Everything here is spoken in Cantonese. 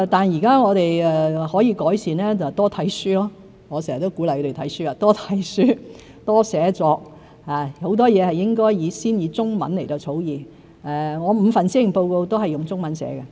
現在我們可以改善的就是多閱讀——我常常鼓勵多閱讀、多寫作，很多事都應先以中文草擬，我的5份施政報告也是先以中文撰寫。